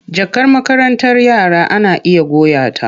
Jakar makarantar yara ana iya goya ta.